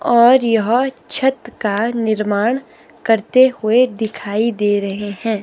और यह छत का निर्माण करते हुए दिखाई दे रहे हैं।